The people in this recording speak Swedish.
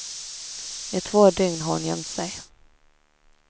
I två dygn har hon gömt sig.